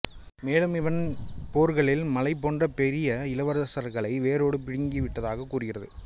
மேலும் இவன் போர்களில் மலை போன்ற பெரிய இளவரசர்களை வேரோடு பிடுங்கிவிட்டதாகக் கூறுகிறது